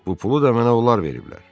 Bu pulu da mənə onlar veriblər.